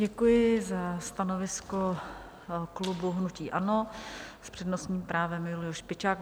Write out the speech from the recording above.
Děkuji za stanovisko klubu hnutí ANO, s přednostním právem Julius Špičák.